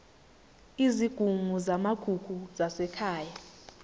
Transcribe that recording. izigungu zamagugu zasekhaya